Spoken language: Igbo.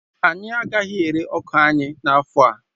Anyị agaghị ere ọka anyị n'afọ a